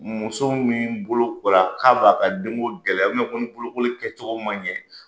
Muso min bolokora k'a b'a ka den gɛlɛya ni bolokoli kɛ cogo man ɲɛ,